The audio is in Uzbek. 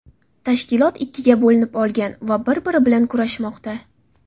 Tashkilot ikkiga bo‘linib olgan va bir biri bilan kurashmoqda.